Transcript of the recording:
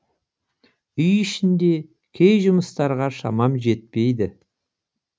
үй ішінде кей жұмыстарға шамам жетпейді